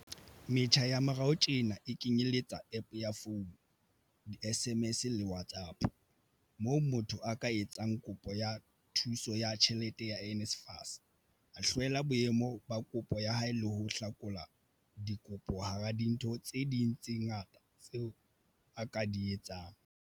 Metjha ya morao tjena e kenyeletsa App ya founu, di-SMS le WhatsApp, moo motho a ka etsang kopo ya thuso ya tjhelete ya NSFAS, a hlwela boemo ba kopo ya hae le ho hlakola dikopo hara dintho tse ding tse ngata tse a ka di etsang.